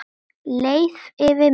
Leið yfir mig?